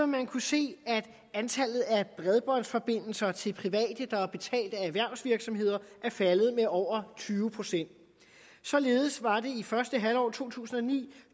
man kunne se at antallet af bredbåndsforbindelser til private der er betalt af erhvervsvirksomheder er faldet med over tyve procent således var det i første halvår af to tusind og ni